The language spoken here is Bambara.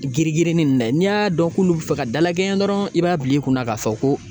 Girigirinin in dɛ n'i y'a dɔn k'olu bɛ fɛ ka dalakɛɲɛ dɔrɔn i b'a bila i kunna k'a fɔ ko